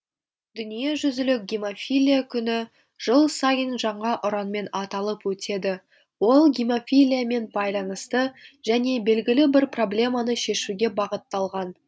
дүниежүзілік гемофилия күні жыл сайын жаңа ұранмен аталып өтеді ол гемофилиямен байланысты және белгілі бір проблеманы шешуге бағытталған